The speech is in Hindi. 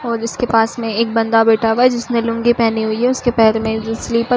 और इसके पास में एक बंदा बैठा हुआ है जिसने लुंगी पहनी हुई है। उसके पैर में जो स्लिपर --